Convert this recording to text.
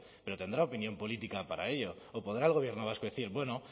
pero tendrá opinión política para ello o podrá el gobierno vasco decir bueno